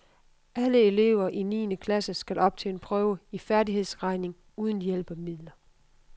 Alle elever i niende klasse skal op til en prøve i færdighedsregning uden hjælpemidler.